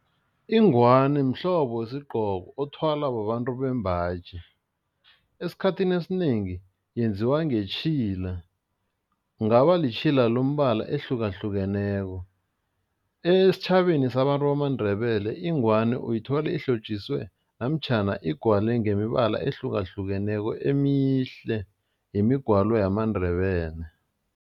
Ingwani mhlobo wesigqoko othwalwa babantu bembaji, esikhathini esinengi yenziwa ngetjhila, kungaba litjhila lombala ehlukahlukeneko. Esitjhabeni sabantu bamaNdebele ingwani uyithole ihlotjiswe namtjhana igwale ngemibala ehlukahlukeneko emihle ngemigwalo yamaNdebele.